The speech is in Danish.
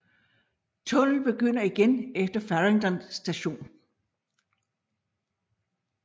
Tunnel begynder igen efter Farringdon Station